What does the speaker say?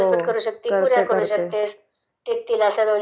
थालपिठ करू शकतेस..पुऱ्या करु शकतेस...सगळं